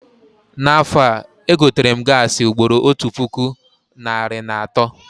Na afọ a, egoterem gaasị ugboro otu puku narị na atọ